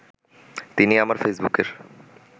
তিনি আমার ফেসবুকের